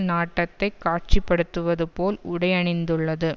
நாட்டத்தைக் காட்சிப்படுத்துவது போல் உடை அணிந்துள்ளது